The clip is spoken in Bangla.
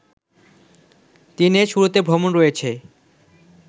দিনের শুরুতে ভ্রমণ রয়েছে